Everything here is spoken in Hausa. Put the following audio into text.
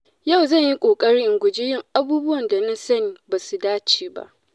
Yau zan yi ƙoƙari in guji yin abubuwan da na sani ba su dace ba.